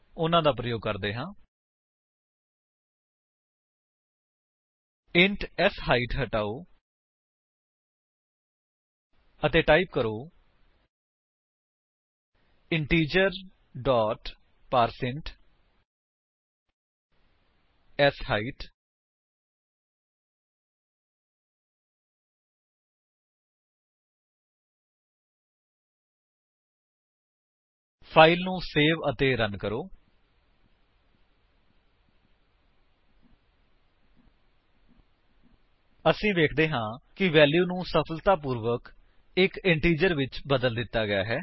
ਉਨ੍ਹਾਂ ਦਾ ਪ੍ਰਯੋਗ ਕਰਦੇ ਹਾਂ ਇੰਟ ਸ਼ਾਈਟ ਹਟਾਓ ਅਤੇ ਟਾਈਪ ਕਰੋ ਇੰਟੀਜਰ ਡੋਟ ਪਾਰਸੈਂਟ ਸ਼ਾਈਟ ਫਾਇਲ ਨੂੰ ਸੇਵ ਅਤੇ ਰਨ ਕਰੋ ਅਸੀ ਵੇਖਦੇ ਹਾਂ ਕਿ ਵੈਲਿਊ ਨੂੰ ਸਫਲਤਾਪੂਰਵਕ ਇੱਕ ਇੰਟੀਜਰ ਵਿੱਚ ਬਦਲ ਦਿੱਤਾ ਗਿਆ ਹੈ